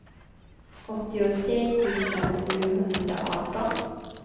åttiotre tusen sjuhundraarton